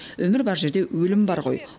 өмір бар жерде өлім бар ғой